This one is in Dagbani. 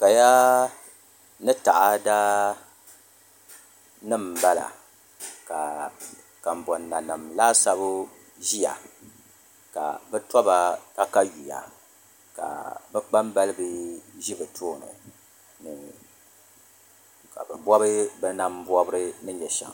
Kaya ni taada nim n bala ka kanboŋ nanim laasabu ʒiya ka bi toba katawiya ka bi kpambalibi ʒi bi tooni ni ka bi bob bi nam bobri ni nyɛ shɛm